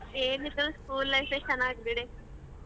ಏನಿದ್ರೂ school life ಯೇ ಚನ್ನಗ್ಬಿಡೆ.